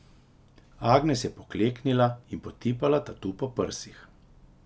Agnes je pokleknila in potipala tatu po prsih.